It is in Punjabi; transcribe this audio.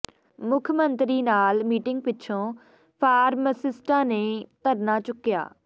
ਮੁੱਖ ਮੰਤਰੀ ਨਾਲ ਮੀਟਿੰਗ ਪਿੱਛੋਂ ਫਾਰਮਾਸਿਸਟਾਂ ਨੇ ਧਰਨਾ ਚੁੱਕਿਆ